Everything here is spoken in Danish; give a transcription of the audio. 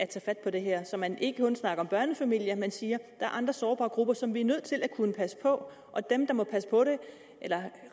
tager fat på det her så man ikke kun snakker om børnefamilier men siger er andre sårbare grupper som vi er nødt til at kunne passe på og dem der må